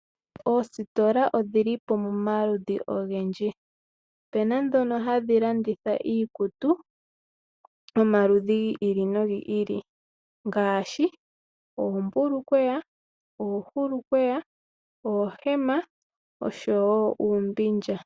Oositola odhili pamaludhi ogendji . Opuna ndhono hadhi landitha iikutu yomaludhi gi ili nogi ili ngaashi oombulukweya, oohulukweya, oohema oshowo uumbindja.